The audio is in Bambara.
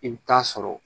I bɛ taa sɔrɔ